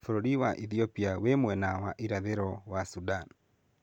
Bũrũri wa Ethiopia wĩ mwena wa irathĩro wa Sudan.